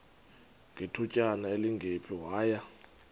ngethutyana elingephi waya